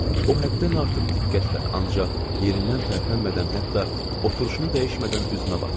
O həddən artıq diqqətlə, ancaq yerindən tərpənmədən, hətta oturuşunu dəyişmədən üzümə baxırdı.